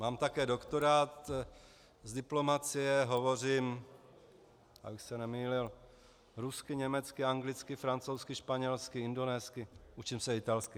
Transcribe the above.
Mám také doktorát z diplomacie, hovořím - abych se nemýlil - rusky, německy, anglicky, francouzsky, španělsky, indonésky, učím se italsky.